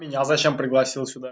зачем пригласи